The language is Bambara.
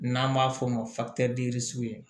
N'an b'a f'o ma